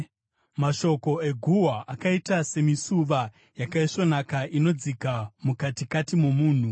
Mashoko eguhwa akaita semisuva yakaisvonaka inodzika mukatikati momunhu.